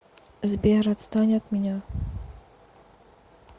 сбер отстань от меня